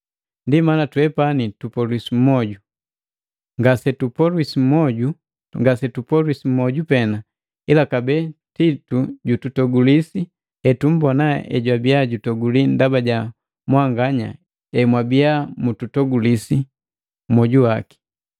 Ndi mana twepani tupolwiliswi mwoju. Ngasetupolwiswi mwoju pena, ila kabee Titu jututogulisi etumbona ejwabiya jutoguli ndaba ja mwanganya emwabiya mutogulisi mwoju waki.